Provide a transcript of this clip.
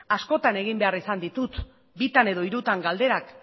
askotan egin behar izan ditut bitan edo hirutan galderak